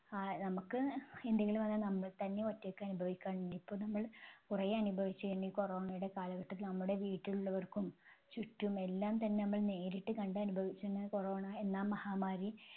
നമ്മക്ക് എന്തെങ്കിലും വന്നാൽ നമ്മൾ തന്നെ ഒറ്റക്ക് അനുഭവിക്കാൻ ഇനി ഇപ്പൊ നമ്മൾ കുറെ അനുഭവിച്ചു കഴിഞ്ഞു ഈ corona യുടെ കാലഘട്ടത്തിൽ നമ്മുടെ വീട്ടിലുള്ളവർക്കും ചുറ്റുമെല്ലാം തന്നെ നമ്മൾ നേരിട്ട് കണ്ടനുഭവിച്ചു corona എന്ന മഹാമാരി